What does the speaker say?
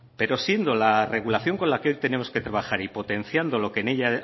pero siendo la regulación con la que hoy tenemos que trabajar y potenciando lo que en ella